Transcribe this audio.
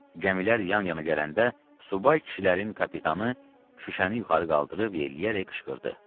Gəmilər yan-yana gələndə subay kişilərin kapitanı şüşəni yuxarı qaldırıb yelləyərək qışqırdı.